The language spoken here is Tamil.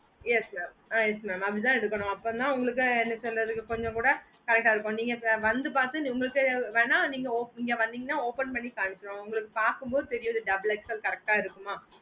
yes mam ஆஹ் yes mam அப்புடித்தான் எடுக்காணோம் அப்போதான் உங்களுக்கு என்ன சொல்லறது அப்போதான் correct ஆஹ் இருக்கும் நீங்க வந்து பாத்து உங்களுக்கு இங்க வந்திங்கனா open காட்டுவோம் ungaluku அது double XL correct ஆஹ் இருக்குமா